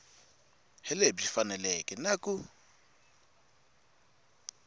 hi lebyi faneleke na ku